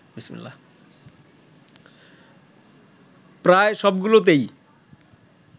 প্রায় সবগুলোতেই